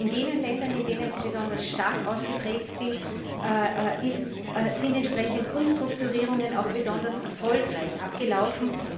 In jenen Ländern, in denen sie besonders stark ausgeprägt ist, sind entsprechend Umstrukturierungen auch besonders erfolgreich abgelaufen.